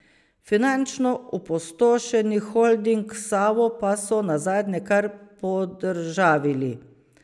Finančno opustošeni holding Savo pa so nazadnje kar podržavili.